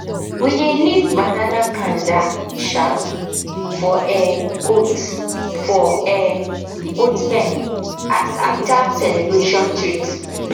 we dey leave banana cander um for um goat for um goat pen as after celebration treats